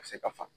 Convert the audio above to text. Ka se ka fa